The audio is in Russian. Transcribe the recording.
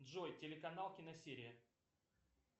джой телеканал киносерия